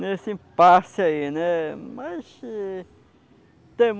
nesse impasse aí, né? Mas